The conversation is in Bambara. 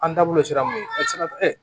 An da bolo sera mun ye sira